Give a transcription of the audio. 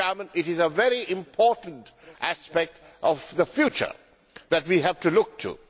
It is a very important aspect of the future that we have to look to.